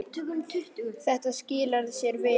Þetta skilar sér vel.